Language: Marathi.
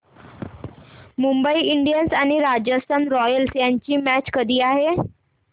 मुंबई इंडियन्स आणि राजस्थान रॉयल्स यांची मॅच कधी आहे